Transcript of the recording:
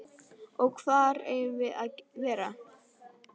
Og hvar eigum við að vera?